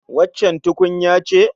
Waccan tukunya ce?